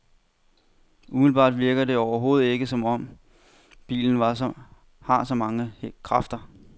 Umiddelbart virker det overhovedet ikke som om, bilen har så mange kræfter.